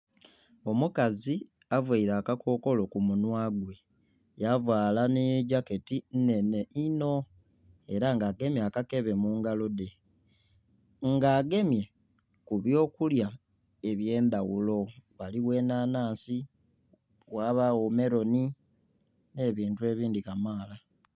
Omukazi avaire akakokolo ku munhwa gwe yavaala n'ejaketi nnhenhe inho era nga agemye akakebe mu ngalo dhe. Nga agemye ku byokulya eby'endhaghulo ghaligho enhanhansi, ghabagho meloni n'ebintu ebindhi kamaala.